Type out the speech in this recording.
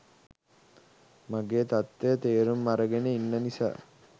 මගේ තත්ත්වය තේරුම් අරගෙන ඉන්න නිසා